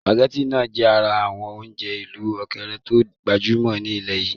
Sùpàgétì náà jẹ ara àwọn oúnjẹ ìlú ókéré to gbajúmọ̀ ní ilẹ́ yìí